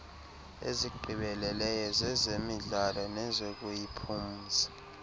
ezigqibeleleyo zezemidlalo nezokuziphumza